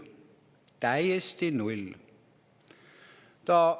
Täiesti null!